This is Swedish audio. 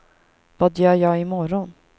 vad gör jag imorgon